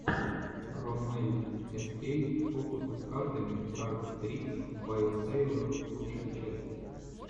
роммель эскей фокусы с картами кард трикс бай сэйлор лучшая часть